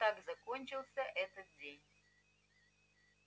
вот так закончился этот день